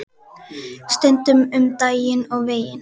Stundum um daginn og veginn.